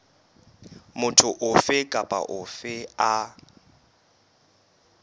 motho ofe kapa ofe a